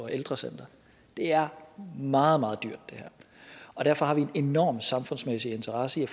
ældrecentre det her er meget meget dyrt og derfor har vi en enorm samfundsmæssig interesse i